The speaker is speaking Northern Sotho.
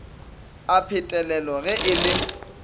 a phetelelo ge e le